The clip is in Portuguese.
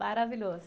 Maravilhoso.